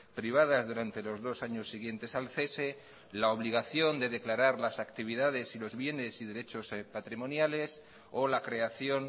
privadas durante los dos años siguientes al cese la obligación de declarar las actividades y los bienes y derechos patrimoniales o la creación